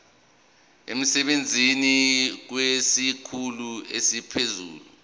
emsebenzini kwesikhulu esiphezulu